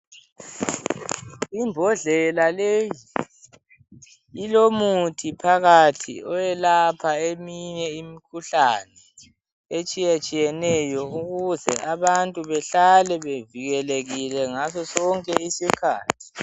Imbodlela leyi ilomuthi phakathi oyelapha eminye imikhuhlane etshiyetshiyeneyo ukuze abantu behlale bevikelekile ngaso sonke isikhathi.